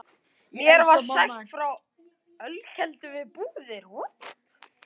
Mér var sagt frá ölkeldu við Búðir.